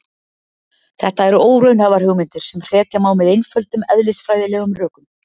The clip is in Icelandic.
þetta eru óraunhæfar hugmyndir sem hrekja má með einföldum eðlisfræðilegum rökum